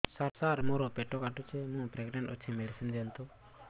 ସାର ମୋର ପେଟ କାଟୁଚି ମୁ ପ୍ରେଗନାଂଟ ଅଛି ମେଡିସିନ ଦିଅନ୍ତୁ